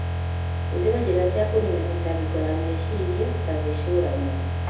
Hũthĩra njĩra cia kũniina mĩtangĩko ya meciria ta gwĩcũrania.